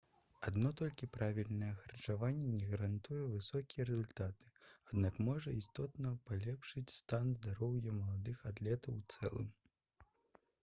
адно толькі правільнае харчаванне не гарантуе высокія рэзультаты аднак можа істотна палепшыць стан здароўя маладых атлетаў у цэлым